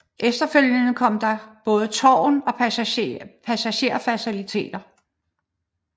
Efterfølgende kom der både tårn og passagerer faciliteter